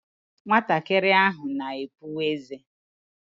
Nwatakịrị ahụ na-epu ézé.